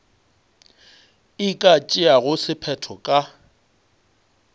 e ka tšeago sephetho ka